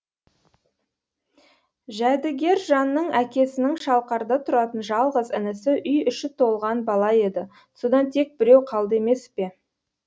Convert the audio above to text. жәдігержанның әкесінің шалқарда тұратын жалғыз інісі үй іші толған бала еді содан тек біреу қалды емес пе